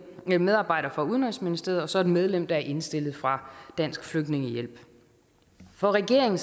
en medarbejder for udenrigsministeriet og så et medlem der er indstillet fra dansk flygtningehjælp for regeringen